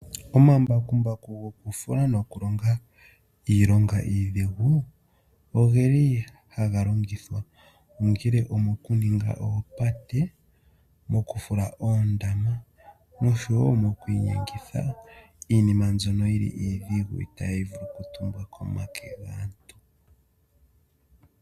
Omambakumbaku goku fula noku longa iilonga idhingu ogeli haga longithwa. Ogele omoku ninga oopate, m9ku fula oondama noshowo moku inyengitha iinima mbyono iidhigu itayi vulu oku tumbwa komake gaantu.